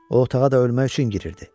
O otağa da ölmək üçün girirdi.